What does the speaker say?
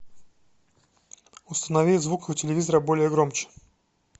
установи звук у телевизора более громче